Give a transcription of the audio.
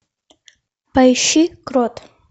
поищи крот